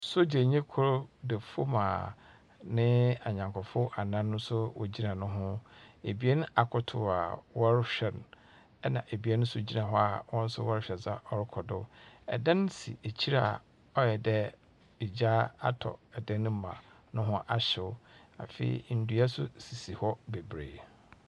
Sogyanyi kor da famu a neee anyankofo anan no nso wogyina no ho. Ebien akotow a wɔrehwɛ no ɛna ebien nso gyina hɔ a hɔn nɔo wɔrehwɛ dza ɔrokɔ do. Dan si ekyir a ɔayɛ de egya atɔ dan no mu a noho ahyeɛ. Afei, ndua nso sisi hɔ beberee.